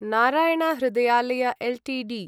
Narayana Hrudayalaya Ltd